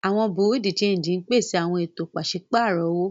Awọn Bureau-de-Chanjí ǹpéṣè awọn ètò pàṣipárọ̀ owo